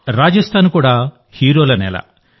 రాజస్థాన్ కూడా హీరోల నేల